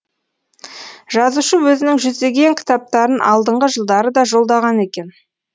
жазушы өзінің жүздеген кітаптарын алдыңғы жылдары да жолдаған екен